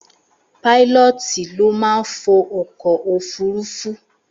Páílọ́ọ̀tì ló máa ń fo ọkọ̀ òfúrufú